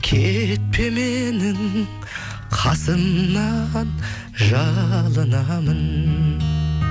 кетпе менің қасымнан жалынамын